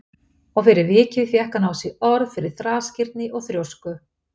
Og fyrir vikið fékk hann á sig orð fyrir þrasgirni og þrjósku.